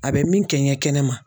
A bɛ min kɛ n ye kɛnɛ ma